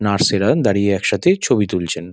Nurse -এরা দাড়িয়ে একসাথে ছবি তুলছেন।